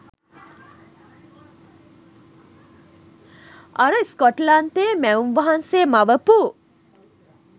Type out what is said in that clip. අර ස්කොට්ලන්තේ මැවුම් වහන්සේ මවපු